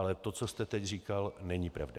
Ale to, co jste teď říkal, není pravda.